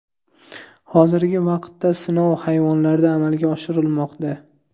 Hozirgi vaqtda sinov hayvonlarda amalga oshirilmoqda.